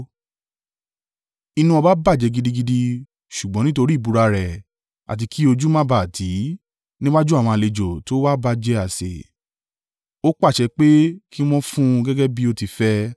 Inú ọba bàjẹ́ gidigidi, ṣùgbọ́n nítorí ìbúra rẹ̀ àti kí ojú má ba à tì í níwájú àwọn àlejò tó wà ba jẹ àsè, ó pàṣẹ pé kí wọ́n fún un gẹ́gẹ́ bí o ti fẹ́.